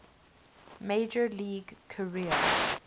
major league career